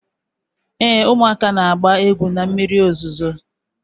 Ee, ụmụaka na-agba egwu na mmiri ozuzo.